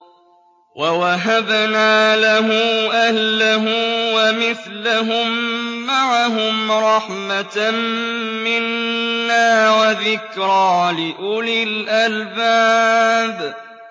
وَوَهَبْنَا لَهُ أَهْلَهُ وَمِثْلَهُم مَّعَهُمْ رَحْمَةً مِّنَّا وَذِكْرَىٰ لِأُولِي الْأَلْبَابِ